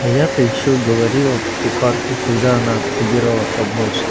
а я-то ещё говорила кухарке когда она собирала поднос